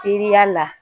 Teriya la